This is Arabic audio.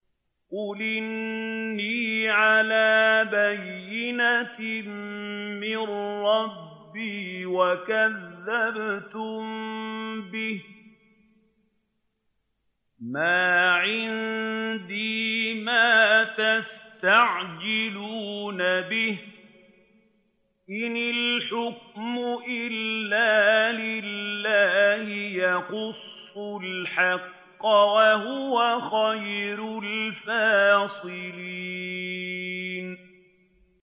قُلْ إِنِّي عَلَىٰ بَيِّنَةٍ مِّن رَّبِّي وَكَذَّبْتُم بِهِ ۚ مَا عِندِي مَا تَسْتَعْجِلُونَ بِهِ ۚ إِنِ الْحُكْمُ إِلَّا لِلَّهِ ۖ يَقُصُّ الْحَقَّ ۖ وَهُوَ خَيْرُ الْفَاصِلِينَ